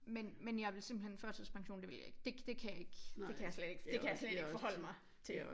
Men men jeg vil simpelthen førtidspension det vil jeg ikke. Det det kan ikke det kan jeg slet ikke forhodle mig til